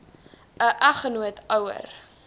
n eggenoot ouer